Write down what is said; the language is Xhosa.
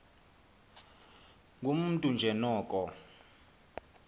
ngumntu nje noko